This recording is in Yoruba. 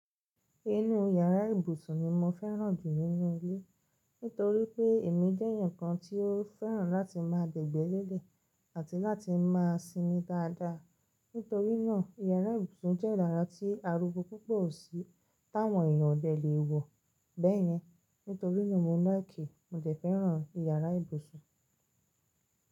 Inú yàrá ìbùsùn ni mo fẹ́ràn jù nínú ilé. Nítorí pé èmi jẹ́ èeyàn kan tí ó fẹ́ràn láti máa dẹ̀gbẹ́lẹ̀lẹ̀ àbi láti máa sinmin dáadáa. Nítorí náà, yàrá ìbùsùn jẹ́ ìlera tí arugo púpọ̀ sí táwọn èèyàn bẹ̀ le è wọ. Bẹ́ẹ̀ni, nítorí náà mo like, mo dẹ fẹ́ràn yàrá ìbùsùn.